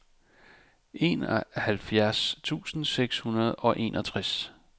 enoghalvfjerds tusind seks hundrede og enogtres